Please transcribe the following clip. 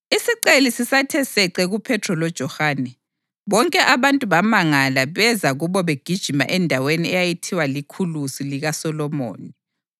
Isiceli sisathe sece kuPhethro loJohane, bonke abantu bamangala beza kubo begijima endaweni eyayithiwa liKhulusi likaSolomoni.